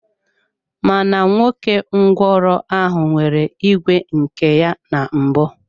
Mana nwoke ngwụro ahụ nwere ìgwè nke ya na mbụ.